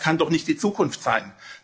Das kann doch nicht die Zukunft sein!